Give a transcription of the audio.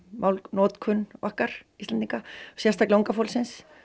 málnotkun okkar Íslendingar sérstaklega unga fólksins